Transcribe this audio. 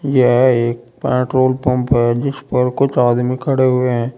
यह एक petrol pump है जिस पर कुछ आदमी खड़े हुए हैं।